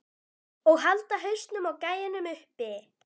Og halda hausnum á gæjanum uppi!